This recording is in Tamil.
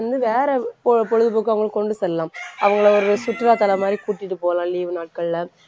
இன்னும் வேற பொ~ பொழுதுபோக்கு அவங்களுக்கு கொண்டு செல்லலாம். அவங்களை ஒரு சுற்றுலாத்தலம் மாதிரி கூட்டிட்டு போலாம் leave நாட்கள்ல